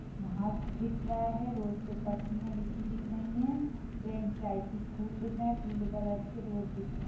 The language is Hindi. घास दिख रहा है। रोड पर पट्टियां बिछी दिख रही है। चाय के फूल दिख रहा। पीले कलर का रोड दिख रहा।